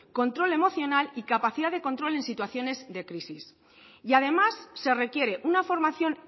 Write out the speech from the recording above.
control emocional y capacidad de control en situaciones de crisis y además se requiere una formación